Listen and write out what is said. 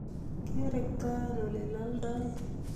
Kerektoen oleloldoi